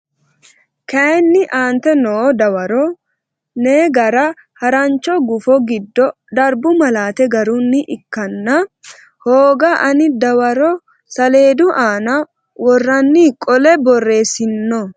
kayinni aante noo dawaro ne gara harancho gufo giddo darbu malaate garunni ikkanna hooga ani dawaro saleedu aana worranni qolle borreessino.